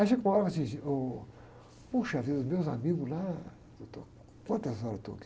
Aí chegou uma hora, falei assim, ôh, poxa vida, os meus amigos lá, doutor, quantas horas eu estou aqui?